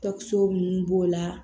Tɔkisɛ ninnu b'o la